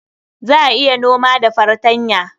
Za a iya noma da fartanya.